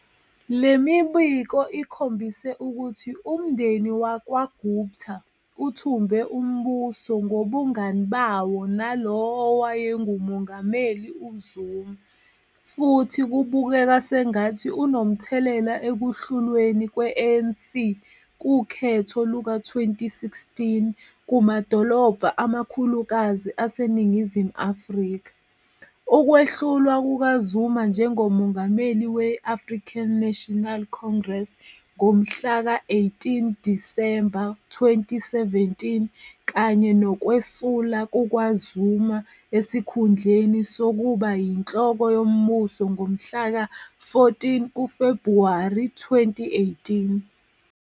Le mibiko ikhombise ukuthi umndeni wakwaGupta "uthumbe umbuso" ngobungani bawo nalowo owayenguMongameli uZuma futhi kubukeka sengathi unomthelela ekuhlulweni kwe-ANC kukhetho luka-2016 kumadolobha amakhulukazi aseNingizimu Afrika, ukwehlulwa kukaZuma njengoMongameli we-African National Congress ngomhla ka 18 Disemba 2017 kanye nokwesula kukaZuma esikhundleni sokuba yinhloko yombuso ngomhla ka 14 kuFebhuwari 2018.